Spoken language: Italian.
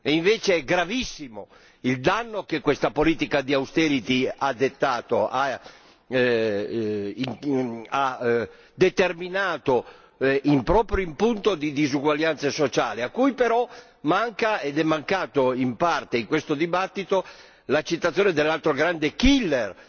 Invece è gravissimo il danno che questa politica di austerity ha determinato proprio in punto di disuguaglianza sociale a cui però manca, ed è mancato in parte in questo dibattito, la citazione dell'altro grande killer